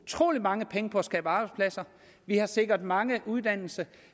utrolig mange penge på at skabe arbejdspladser vi har sikret mange uddannelse